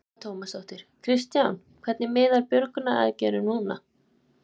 Telma Tómasson: Kristján, hvernig miðar björgunaraðgerðum núna?